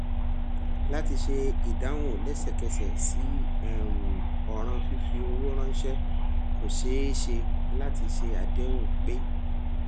láti ṣe ìdáhùn lẹsẹkẹsẹ sí um òràn fífi owó ránṣẹ kò ṣeé ṣe láti ṣe àdéhùn pé